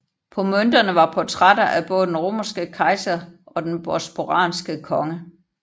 På mønterne var portrætter af både den romerske kejser og den bosporanske konge